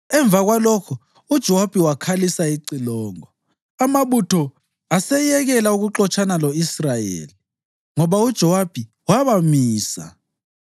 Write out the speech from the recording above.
Emva kwalokho uJowabi wakhalisa icilongo, amabutho aseyekela ukuxotshana lo-Israyeli, ngoba uJowabi wawamisa.